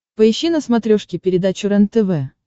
поищи на смотрешке передачу рентв